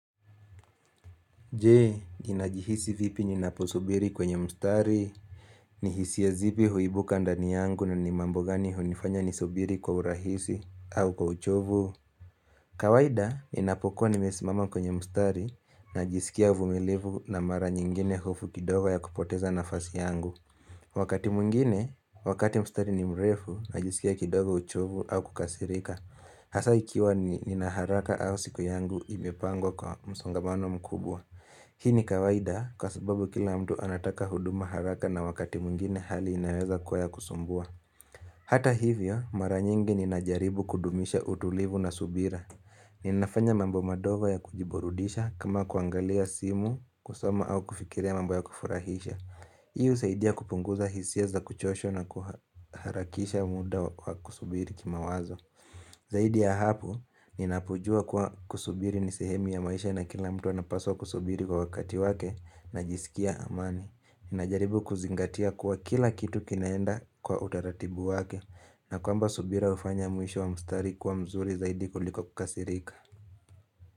Je, ninajihisi vipi ninaposubiri kwenye mstari, ni hisia zipi huibuka ndani yangu na ni mambo gani hunifanya nisubiri kwa urahisi au kwa uchovu? Kawaida, ninapokuwa nimesimama kwenye mstari, najisikia uvumilivu na mara nyingine hofu kidogo ya kupoteza nafasi yangu. Wakati mwingine, wakati mstari ni mrefu, najisikia kidogo uchovu au kukasirika. Hasa ikiwa nina haraka au siku yangu imepangwa kwa msongamano mkubwa. Hii ni kawaida kwa sababu kila mtu anataka huduma haraka na wakati mwingine hali inaweza kwa ya kusumbua Hata hivyo mara nyingi ninajaribu kudumisha utulivu na subira Ninafanya mambo madogo ya kujiburudisha kama kuangalia simu, kusoma au kufikiria mambo ya kufurahisha Hi husaidia kupunguza hisia za kuchoshwa na kuharakisha muda wa kusubiri kimawazo Zaidi ya hapo, ninapojua kuwa kusubiri ni sehemu ya maisha na kila mtu anapaswa kusubiri kwa wakati wake, najisikia amani. Ninajaribu kuzingatia kuwa kila kitu kinaenda kwa utaratibu wake na kwamba subira hufanya mwisho wa mstari kuwa mzuri zaidi kuliko kukasirika.